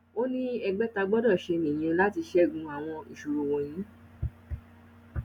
ó ní ẹgbẹ tá a gbọdọ ṣe nìyẹn láti ṣẹgun àwọn ìṣòro wọnyí